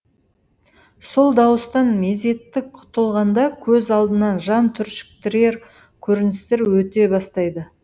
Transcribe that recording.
сол дауыстан мезеттік құтылғанда көз алдынан жан түршіктірер көріністер өте бастайды